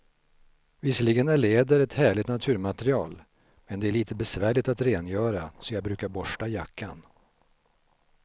Visserligen är läder ett härligt naturmaterial, men det är lite besvärligt att rengöra, så jag brukar borsta jackan.